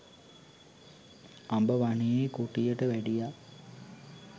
අඹ වනයෙහි කුටියට වැඩියා.